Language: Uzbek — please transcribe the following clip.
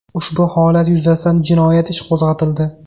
Ushbu holat yuzasidan jinoyat ishi qo‘zg‘atildi.